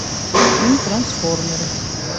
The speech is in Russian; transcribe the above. фильм трансформеры